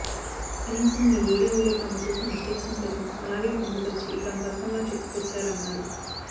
కనీసం ఈవోడీవోలో తాము చేసిన మిస్టెక్స్ ను సైతం అలాగే పొందుపరిచి తమ పథకంలా చెప్పుకొచ్చారన్నారు